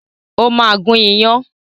O ma gún iyán